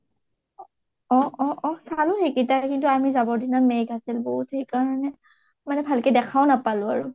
অ অ অ চালো সেইকেইটাই কিন্তু আমি যাবৰ দিনা মেঘ আছিল বহুত সেইকাৰণে মানে ভালকৈ দেখাও নাপালোঁ আৰু